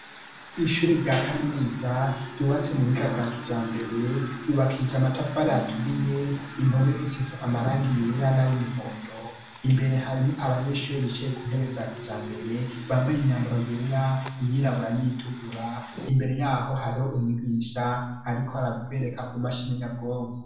Ishuri rya kaminuza ryubatse mu buhiga bwa kijambere ryubakija matafare yaturiye impomezusitse amarangi yera n'ay'umuhondo imbere harimwe abanyeshuri bichaye ku ntebe za kijambere bambaye imyambaro yera iyirabura n'itukura imbere yaho hariho umwibisha ariko arabereka ku mashini nyabwonko.